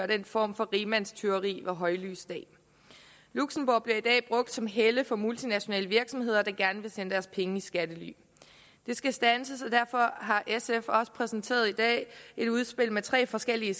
den form for rigmandstyveri ved højlys dag luxembourg bliver i dag brugt som helle for multinationale virksomheder der gerne vil sende deres penge i skattely det skal standses og derfor har sf i også præsenteret et udspil med tre forskellige